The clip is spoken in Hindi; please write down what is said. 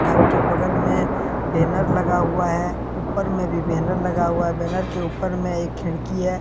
घर के बगल में बैनर लगा हुआ है ऊपर में भी बैनर लगा हुआ है बैनर के ऊपर में एक खिड़की है।